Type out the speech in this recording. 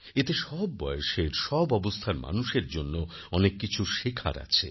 এতে সব বয়সের সব অবস্থার মানুষের জন্য অনেককিছু শেখার আছে